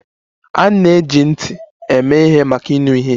A na-eji ntị eme ihe maka ịnụ ihe.